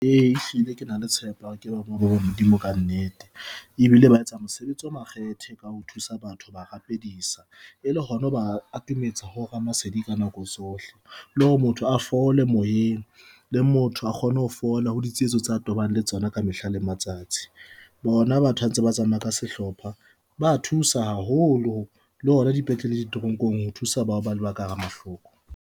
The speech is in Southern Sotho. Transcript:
E, hlile ke na le tshepo ya hore ke batho ba Modimo ka nnete, ebile ba etsa mosebetsi o makgethe ka ho thusa batho ho ba rapedisa e le hona ho ba atametsa ho Ramasedi ka nako tsohle, le hore motho a fole moyeng motho a kgone ho fola ho ditsietso tsa tobanang le tsona ka mehla le matsatsi. Bona batho ha ba ntse ba tsamaya ka sehlopha, ba ya thusa haholo le hona dipetlele, ditoronkong ho thusa bao ba leba ka hara mahloko.